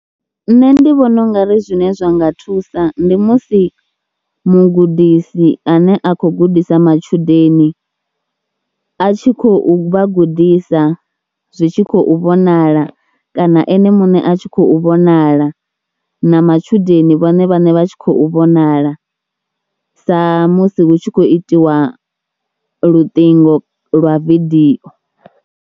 Nṋe ndi vhona u nga ri zwine zwa nga thusa, ndi musi mugudisi ane a kho gudisa matshudeni a tshi khou vhagudisa zwi tshi khou vhonala kana ene muṋe a tshi khou vhonala na matshudeni vhone vhaṋe vha tshi khou vhonala samusi hu tshi khou itiwa luṱingo lwa vidio.